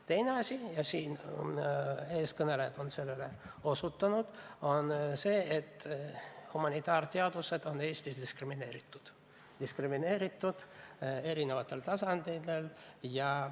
Teine asi – ja ka eelkõnelejad on sellele osutanud – on see, et humanitaarteadused on Eestis diskrimineeritud erinevatel tasanditel.